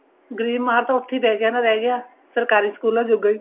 ਗਰੀਬ ਮਾ ਤਾਂ ਉੱਥੇ ਹੀ ਰਹਿ ਗਿਆ ਰਹਿ ਗਿਆ ਸਰਕਾਰੀ ਸਕੂਲਾ ਜੋਗਾ ਈ